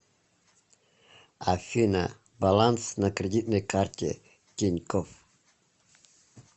афина баланс на кредитной карте тинькофф